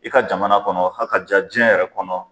I ka jamana kɔnɔ ha ka ja jiɲɛ yɛrɛ kɔnɔ